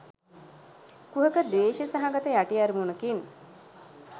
කුහක ද්වේෂ සහගත යටි අරමුණකින්